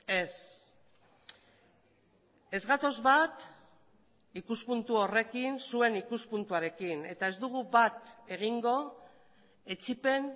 ez ez gatoz bat ikuspuntu horrekin zuen ikuspuntuarekin eta ez dugu bat egingo etsipen